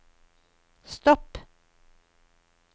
stopp